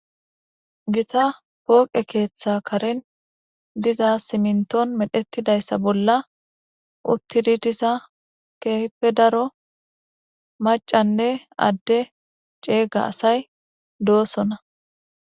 Gitta pooqqe keththa Karen dizza simminton medhdhetidayissa bolla uttida dizza kehippe daro maccane adde cegga asayi doossona.